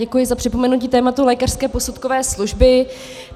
Děkuji za připomenutí tématu lékařské posudkové služby.